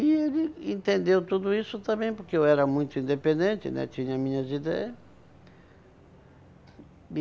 E ele entendeu tudo isso também, porque eu era muito independente, né, tinha minhas ideia